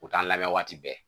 U t'an labɛn waati bɛɛ